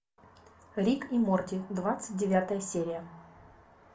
рик и морти двадцать девятая серия